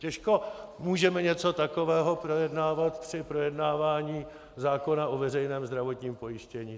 Těžko můžeme něco takového projednávat při projednávání zákona o veřejném zdravotním pojištění.